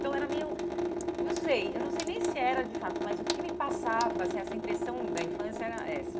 Então era meio... Não sei, eu não sei nem se era de fato, mas o que me passava, assim essa impressão da infância era essa.